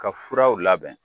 Ka furaw labɛn